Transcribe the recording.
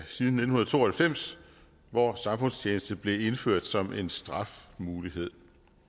siden nitten to og halvfems hvor samfundstjeneste blev indført som en strafmulighed